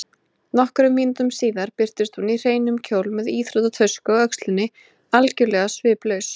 Nokkrum mínútum síðar birtist hún í hreinum kjól með íþróttatösku á öxlinni, algjörlega sviplaus.